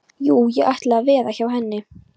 Jú, ég ætla að veða hjá henni.